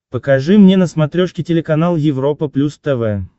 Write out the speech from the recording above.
покажи мне на смотрешке телеканал европа плюс тв